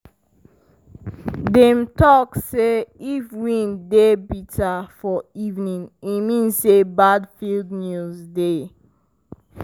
dem talk say if wind dey bitter for evening e mean say bad field news dey.